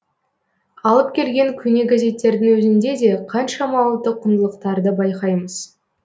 алып келген көне газеттердің өзінде де қаншама ұлттық құндылықтарды байқаймыз